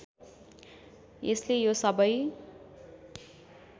यसले यो सबै